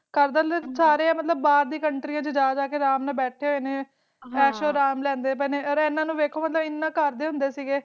ਸਾਰੇ ਬਾਰ ਦੀ ਕੌਂਟਰਯਾ ਵਿਚ ਜਾ ਕਈ ਬੈਠੀ ਹੋਈ ਨੇ ਅਸ਼ ਅਰਾਮ ਦੇ ਲਿਫੇ ਜੀ ਰਹੇ ਨੇ, ਰਾਇ ਹਨ ਨੂੰ ਡਾਖੋ ਹਨ ਕਰਦੇ ਹੁੰਦੇ ਸੀ